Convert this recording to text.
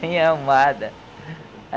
Bem arrumada.